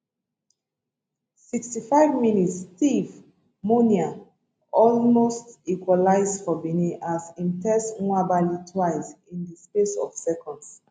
65 mins steve mounie almost equalise for benin as im test nwabali twice in di space of seconds